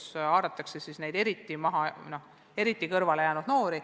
Selle meetmega haaratakse tööst ja õppimisest kõrvale jäänud noori.